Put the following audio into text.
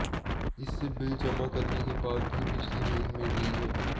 इससे बिल जमा करने के बाद भी बिजली नहीं मिल रही है